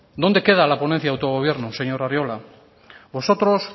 dónde queda la ponencia de autogobierno señor arriola vosotros